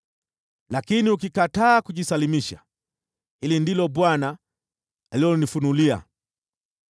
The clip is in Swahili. Lakini ukikataa kujisalimisha, hili ndilo Bwana alilonifunulia: